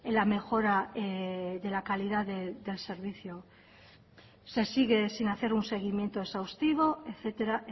la mejora de la calidad del servicio se sigue sin hacer un seguimiento exhaustivo etcétera